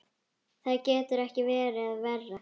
Það gæti ekki verið verra.